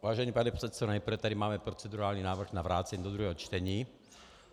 Vážený pane předsedo, nejprve tady máme procedurální návrh na vrácení do druhého čtení.